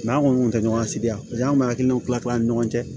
an kɔni kun tɛ ɲɔgɔn sigi yan an bɛ hakilinaw kila kila an ni ɲɔgɔn cɛ